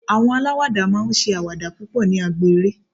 àwọn alawada ma n ṣe awada púpò ní agbo eré